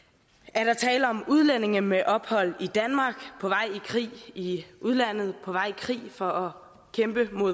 er der tale om udlændinge med ophold i danmark på vej i krig i i udlandet på vej i krig for at kæmpe